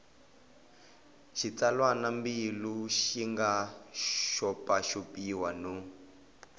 xitsalwambiko xi nga xopaxopiwa no